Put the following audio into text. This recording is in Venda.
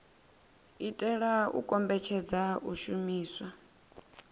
itela u kombetshedza u shumiswa